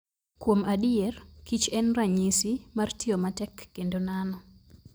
Kuom adier, kich en ranyisi mar tiyo matek kendo nano.